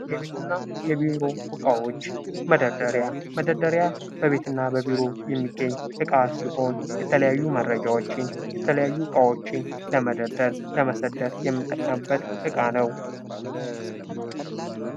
የቤትና የቢሮ እቃዎች መደርደሪያ። መደርደሪያ በቤትና በቢሮ የሚገኝ እቃ ሲሆን የተለያዩ መረጃዎችን ፣የተለያዩ እቃዎችን ለመደርደር፣ ለመሰደር የምንጠቀምበት እቃ ነው።